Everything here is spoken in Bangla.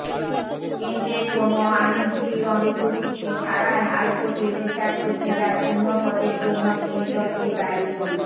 কেন্দ্রের কোনও আইনজীবীর অনুপস্থিতি ছাড়াই হাইকোর্টের বিচারপতিরা শূন্যপদের জন্য কেন্দ্রকে দায়ী